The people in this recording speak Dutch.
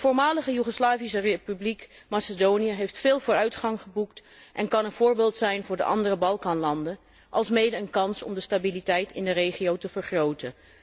De Voormalige Joegoslavische Republiek Macedonië heeft veel vooruitgang geboekt en kan een voorbeeld zijn voor de andere Balkanlanden, alsmede een kans om de stabiliteit in de regio te vergroten.